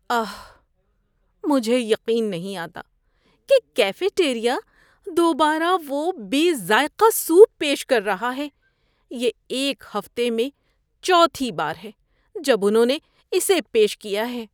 آہ، مجھے یقین نہیں آتا کہ کیفے ٹیریا دوبارہ وہ بے ذائقہ سوپ پیش کر رہا ہے۔ یہ ایک ہفتے میں چوتھی بار ہے جب انہوں نے اسے پیش کیا ہے۔